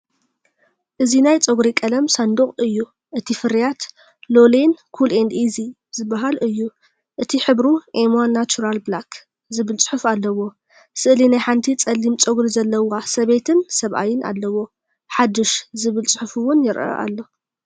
እዚ ናይ ጸጉሪ ቀለም ሳንዱቕ እዩ። እቲ ፍርያት LOLANE COOL & EASY ዝበሃል እዩ። እቲ ሕብሩ M1 Natural Black ዝብል ፅሑፍ ኣለዎ። ስእሊ ናይ ሓንቲ ጸሊም ጸጉሪ ዘለዎ ሰበይትን ሰብኣይን ኣለዎ።"ሓድሽ" ዝብል ጽሑፍ እውን ይርአ ኣሎ።